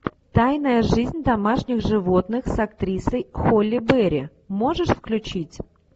тайная жизнь домашних животных с актрисой холли берри можешь включить